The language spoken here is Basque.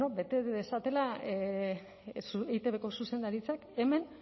bueno bete dezatela eitbko zuzendaritzak hemen